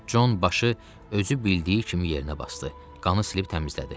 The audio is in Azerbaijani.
Con başı özü bildiyi kimi yerinə basdı, qanı silib təmizlədi.